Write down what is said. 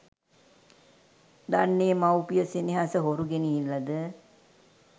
දන්නේ මව් පිය සෙනෙහස හොරු ගෙනිහිල්ලද